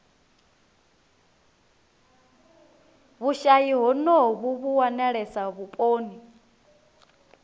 vhushayi honovhu vhu wanalesa vhuponi